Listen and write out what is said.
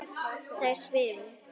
Þær svifu.